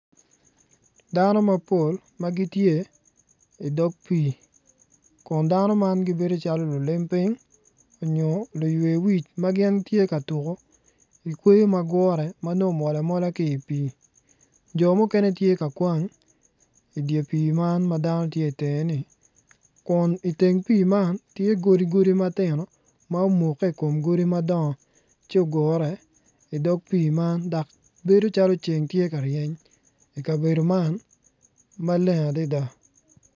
Dano mapol ma gitye idog pii kun dano man gibedo calo lulim piny nyo luywe wic ma gin tye ka tuko ikweyo ma gure ma nongo omol amola ki i pii jo mukene tye ka kwang idye pii man ma dano tye ka kwang itenge-ni kun iteng pii man tye godi godi matino ma omukke i kom godi madongo ci ogure idog pii man bedo calo ceng tye ka ryeny i kabedo man maleng adada.